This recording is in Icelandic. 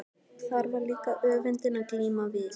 Og þar var líka öfundin að glíma við.